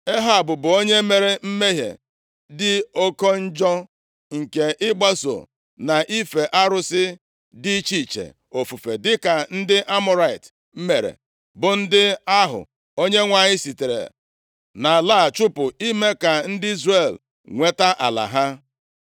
Ehab bụ onye mere mmehie dị oke njọ nke ịgbaso na ife arụsị dị iche iche ofufe dịka ndị Amọrait + 21:26 Aha a, ka e ji mara ndị biri nʼala ahụ Chineke kwere Ebraham na nkwa tupu ụmụ Izrel a bịa bichie na ya. \+xt Jen 15:16; Ọpụ 23:23; Dit 1:7-8; 2Ez 21:11\+xt* mere, bụ ndị ahụ Onyenwe anyị sitere nʼala a chụpụ ime ka ndị Izrel nweta ala ha.)